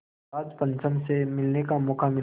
George पंचम से मिलने का मौक़ा मिला